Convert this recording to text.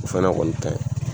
O fɛnɛ kɔni ka ɲi.